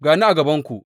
Ga ni a gabanku.